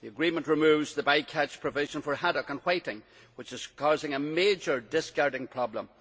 The agreement removed the by catch provision for haddock and whiting, which is causing a major discarding problem.